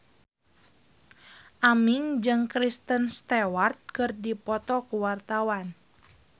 Aming jeung Kristen Stewart keur dipoto ku wartawan